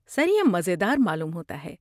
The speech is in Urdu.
سر، یہ مزیدار معلوم ہوتا ہے۔